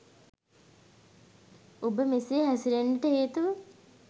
ඔබ මෙසේ හැසිරෙන්නට හේතුව